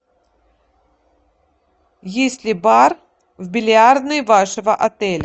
есть ли бар в бильярдной вашего отеля